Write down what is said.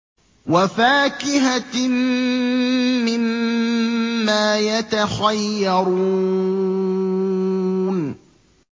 وَفَاكِهَةٍ مِّمَّا يَتَخَيَّرُونَ